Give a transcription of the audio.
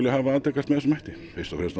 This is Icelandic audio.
hafi atvikast með þessum hætti fyrst og fremst